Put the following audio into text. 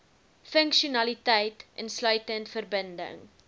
funksionaliteit insluitend verbinding